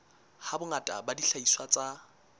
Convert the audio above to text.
ha bongata ba dihlahiswa tsa